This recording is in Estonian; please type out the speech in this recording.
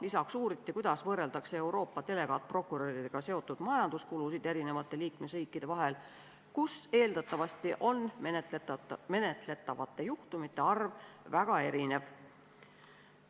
Lisaks uuriti, kuidas võrreldakse Euroopa delegaatprokuröridega seotud majanduskulusid eri liikmesriikide vahel, sest eeldatavasti on menetletavate juhtumite arv väga erinev.